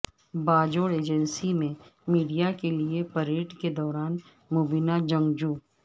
Bajaur agency میں media کے لیے پریڈ کے دوران مبینہ جنگجو